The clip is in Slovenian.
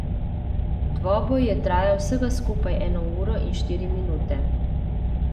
Dvoboj je trajal vsega skupaj eno uro in štiri minute.